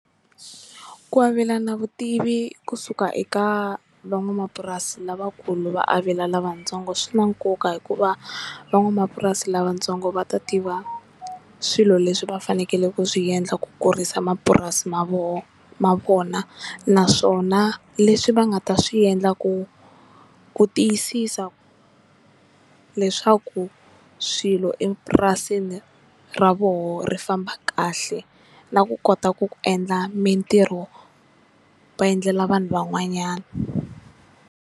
Ku avelana vutivi kusuka eka van'wamapurasi lavakulu va avela lavatsongo swi na nkoka hikuva van'wamapurasi lavatsongo va ta tiva swilo leswi va fanekele ku swi endla ku kurisa mapurasi ma voho ma vona naswona leswi va nga ta swi endla ku ku tiyisisa leswaku swilo epurasini ra voho ri famba kahle na ku kota ku ku endla mintirho va endlela vanhu van'wanyana.